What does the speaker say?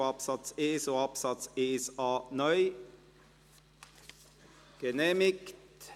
2; Antrag FiKo-Mehrheit [Saxer, Gümligen])